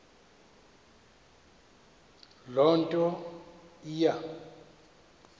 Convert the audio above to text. loo nto iya